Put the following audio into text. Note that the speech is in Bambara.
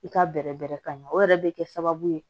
I ka bɛrɛ bɛrɛ ka ɲɛ o yɛrɛ bɛ kɛ sababu ye